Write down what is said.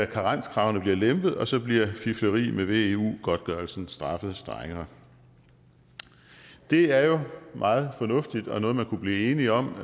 karenskravene bliver lempet og så bliver fifleri med veu godtgørelsen straffet strengere det er jo meget fornuftigt og noget man kunne blive enige om